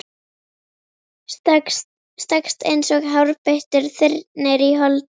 Stakkst eins og hárbeittur þyrnir í holdið.